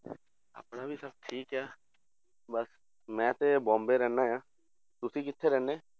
ਆਪਣਾ ਵੀ ਸਭ ਠੀਕ ਹੈ ਬਸ ਮੈਂ ਤੇ ਬੋਂਬੇ ਰਹਿੰਦਾ ਹਾਂ, ਤੁਸੀਂ ਕਿੱਥੇ ਰਹਿੰਦੇ?